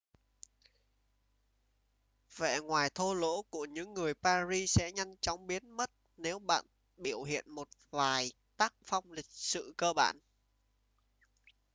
vẻ ngoài thô lỗ của những người paris sẽ nhanh chóng biến mất nếu bạn biểu hiện một vài tác phong lịch sự cơ bản